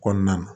Kɔnɔna na